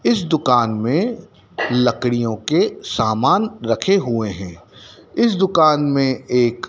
इस दुकान में लकड़ियों के सामान रखे हुए हैं इस दुकान में एक--